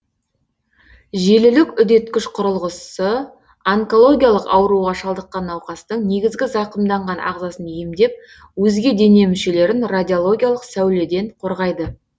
желілік үдеткіш құрылғысы онкологиялық ауруға шалдыққан науқастың негізгі зақымданған ағзасын емдеп өзге дене мүшелерін радиологиялық сәуледен қорғайды